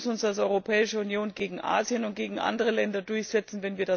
Wir müssen uns als Europäische Union gegen Asien und gegen andere Länder durchsetzen.